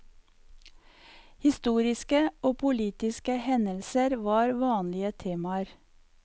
Historiske og politiske hendelser var vanlige temaer.